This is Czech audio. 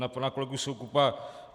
Na pana kolegu Soukupa.